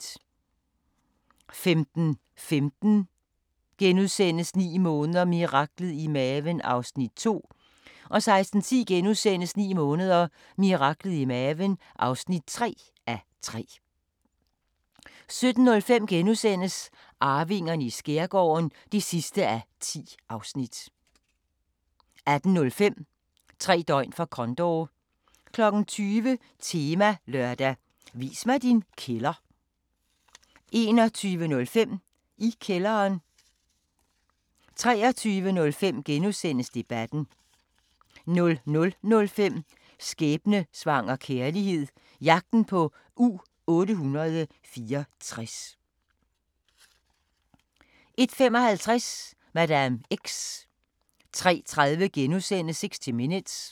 15:15: 9 måneder – miraklet i maven (2:3)* 16:10: 9 måneder – miraklet i maven (3:3)* 17:05: Arvingerne i skærgården (10:10)* 18:05: Tre døgn for Condor 20:00: Temalørdag: Vis mig din kælder 21:05: I kælderen 23:05: Debatten * 00:05: Skæbnesvanger kærlighed – jagten på U-864 01:55: Madame X 03:30: 60 Minutes *